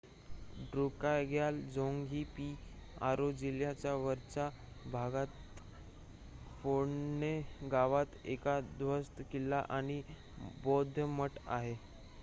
ड्रुकग्याल झोंग ही पारो जिल्ह्याच्या वरच्या भागात फोन्डे गावात एक उध्वस्त किल्ला आणि बौद्ध मठ आहे